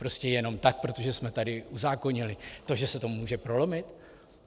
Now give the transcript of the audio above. Prostě jenom tak, protože jsme tady uzákonili to, že se to může prolomit?